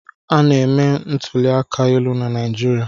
Aga na-eme ntuli aka elu na Naịjirịa.